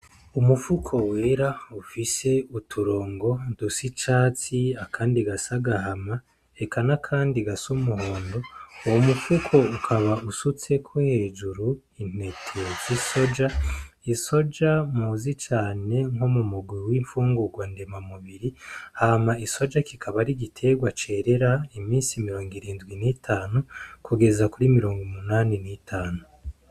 Umufuko wera ufise uturongo ndusa icatsi akandi gasa gahama Eka N’akandi gasa umuhondo uwo mufuko ukaba usutseko hejuru intete z'isoja, isoja muzi cane nko mu mugwi w'imfungurwa ndema mubiri hama isoja kikaba ar'igiterwa cerera imisi mirongo irindwi n'itanu kugeza kuri mirongo munani n'itanu.